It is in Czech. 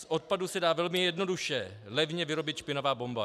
Z odpadu se dá velmi jednoduše levně vyrobit špinavá bomba.